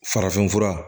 Farafin fura